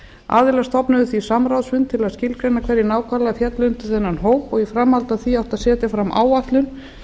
aðilar stofnuðu því samráðsfund til að skilgreina hverjir nákvæmlega féllu undir þennan hóp og í framhaldi af því átti að setja fram áætlun